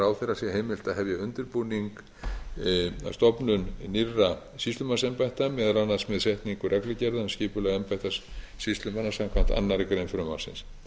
ráðherra sé heimilt að hefja undirbúning að stofnun nýrra sýslumannsembætta meðal annars með setningu reglugerða um skipuleg embætti sýslumanna samkvæmt annarri grein frumvarpsins